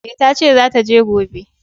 E, ta ce za ta je gobe.